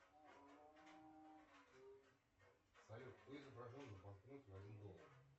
салют кто изображен на банкноте в один доллар